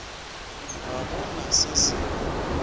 ga go na se se